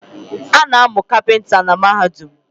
Ana amu kapinta na Mahadum